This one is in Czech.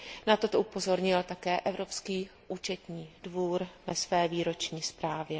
Na toto upozornil také Evropský účetní dvůr ve své výroční zprávě.